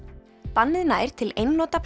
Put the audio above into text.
bannið nær til einnota